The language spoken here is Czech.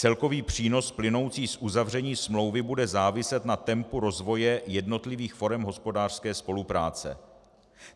Celkový přínos plynoucí z uzavření smlouvy bude záviset na tempu rozvoje jednotlivých forem hospodářské spolupráce.